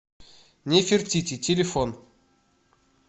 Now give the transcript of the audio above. нефертити телефон